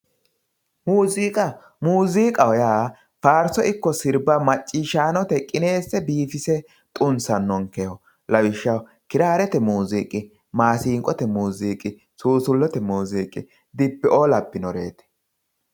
Muziiqa muziiqaho yaa faarso ikko sirba macciishshanote qinese biifise xunsanokkeho lawishshaho kirare muziiqi, masinqote muziiqi, susulete muziiqi, dibbeo labbinoreti.